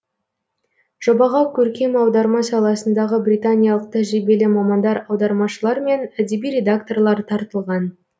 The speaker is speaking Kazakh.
жобаға көркем аударма саласындағы британиялық тәжірибелі мамандар аудармашылар мен әдеби редакторлар тартылған